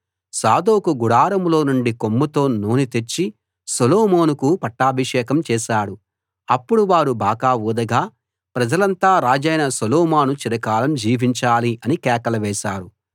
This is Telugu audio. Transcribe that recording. సాదోకు గుడారంలో నుండి కొమ్ముతో నూనె తెచ్చి సొలొమోనుకు పట్టాభిషేకం చేశాడు అప్పుడు వారు బాకా ఊదగా ప్రజలంతా రాజైన సొలొమోను చిరకాలం జీవించాలి అని కేకలు వేశారు